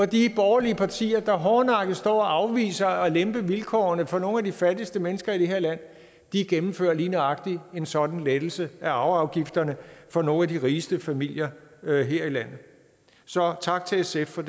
de borgerlige partier der hårdnakket står og afviser at lempe vilkårene for nogle af de fattigste mennesker i det her land gennemfører lige nøjagtig en sådan lettelse af arveafgifterne for nogle af de rigeste familier her i landet så tak til sf for